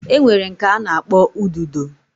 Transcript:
Enwere nke ana akpo ududo